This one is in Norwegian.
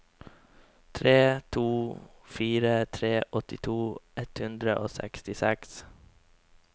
tre to fire tre åttito ett hundre og sekstiseks